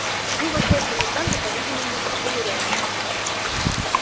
мы вышли от коменданта по-видимому примирённые